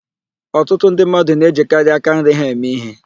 Ọtụtụ ndị mmadụ na-ejikarị aka nri ha eme íhé.